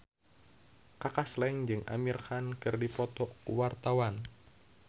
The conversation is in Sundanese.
Kaka Slank jeung Amir Khan keur dipoto ku wartawan